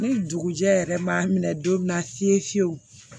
Ni dugujɛ yɛrɛ ma minɛ don min na fiye fiye fiyew